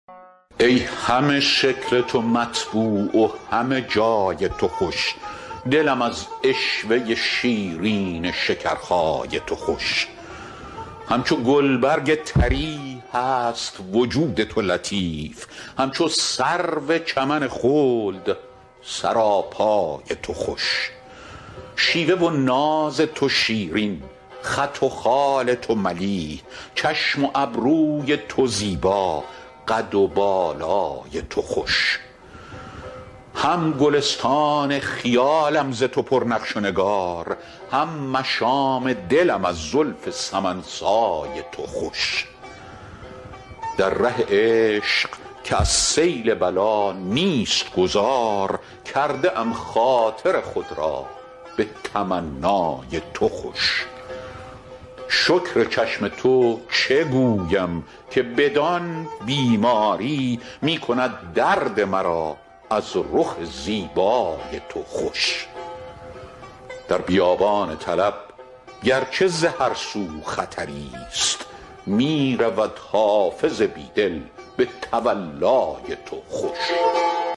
ای همه شکل تو مطبوع و همه جای تو خوش دلم از عشوه شیرین شکرخای تو خوش همچو گلبرگ طری هست وجود تو لطیف همچو سرو چمن خلد سراپای تو خوش شیوه و ناز تو شیرین خط و خال تو ملیح چشم و ابروی تو زیبا قد و بالای تو خوش هم گلستان خیالم ز تو پر نقش و نگار هم مشام دلم از زلف سمن سای تو خوش در ره عشق که از سیل بلا نیست گذار کرده ام خاطر خود را به تمنای تو خوش شکر چشم تو چه گویم که بدان بیماری می کند درد مرا از رخ زیبای تو خوش در بیابان طلب گر چه ز هر سو خطری ست می رود حافظ بی دل به تولای تو خوش